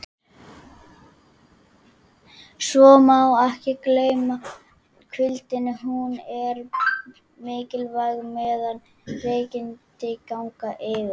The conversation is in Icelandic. Svo má ekki gleyma hvíldinni, hún er mikilvæg meðan veikindi ganga yfir.